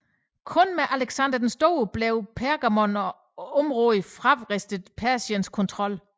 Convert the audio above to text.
Kun med Alexander den Store blev Pergamon og området fravristet Persiens kontrol